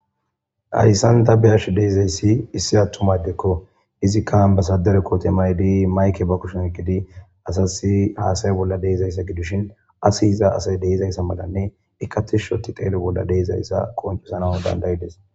Hayssan da beyarsh deizayssi issi attumaydekko izikkan basadere kootemay dii mayke ba kushen egidi asasi haasay bolla deizayssa gidushin asi iza asay deizayssa malanne ikati shoti qaelo bolla deizayssa qoncesana dandayides.